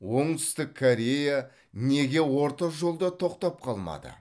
оңтүстік корея неге орта жолда тоқтап қалмады